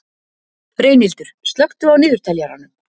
Reynhildur, slökktu á niðurteljaranum.